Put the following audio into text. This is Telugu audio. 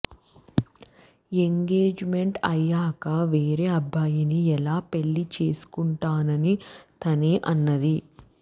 ఎంగేజ్మెంట్ అయ్యాక వేరే అబ్బాయిని ఎలా పెళ్లి చేసుకుంటానని తనే అన్నది